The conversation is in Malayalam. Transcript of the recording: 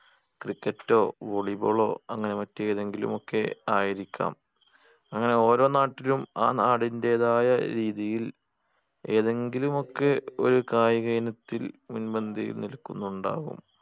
cricket ഓ volleyball ഓ അങ്ങനെ മറ്റേതെങ്കിലുമൊക്കെ ആയിരിക്കാം അങ്ങനെ ഓരോ നാട്ടിലും ആ നാടിന്റേതായ രീതിയിൽ ഏതെങ്കിലുമൊക്കെ ഒരു കായിക ഇനത്തിൽ മുൻപന്തിയിൽ നിൽക്കുന്നുണ്ടാകും